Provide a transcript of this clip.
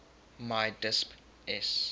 mi disp s